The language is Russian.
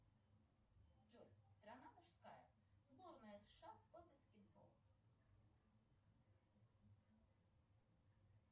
джой страна мужская сборная сша по баскетболу